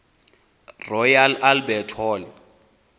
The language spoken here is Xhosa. royal albert hall